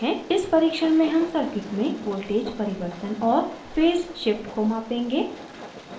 इस परिक्षण में हम circuit में voltage परिवर्तन और phase shift को मापेंगे